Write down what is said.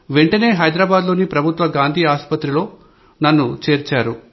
వెంటనే హైదరాబాద్ లోని ప్రభుత్వ గాంధీ హాస్పిటల్ లో నన్ను చేర్చారు